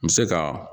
N bɛ se ka